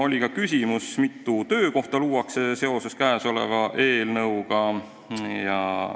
Oli ka küsimus, mitu töökohta luuakse seoses käesoleva eelnõuga.